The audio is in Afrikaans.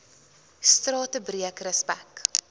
strate breek respek